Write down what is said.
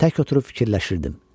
Tək oturub fikirləşirdim.